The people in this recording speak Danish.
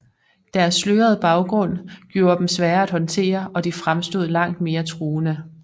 Deres slørede baggrund gjorde dem svære at håndtere og de fremstod langt mere truende